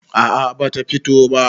a a bata fito ba